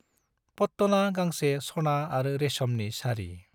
पट्टना गांसे सना आरो रेशमनि साड़ी।